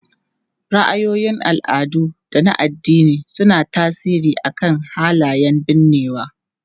Ra'ayoyin al'adu da na addini suna tasiri akan halayen binnewa.